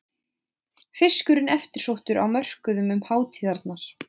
Fiskurinn eftirsóttur á mörkuðum um hátíðarnar